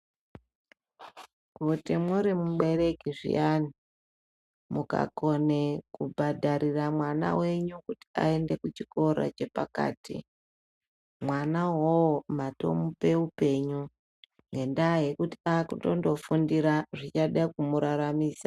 Kuti muri mubereki zviyani mukakone kubhadharira mwana venyu kuti aende kuchikora chepakati. Mwana ivovo matomupe upenyu ngendaa yekuti akutondofundira zvichada kumuraramisa.